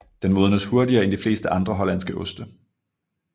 Den modnes hurtigere end de fleste andre hollandske oste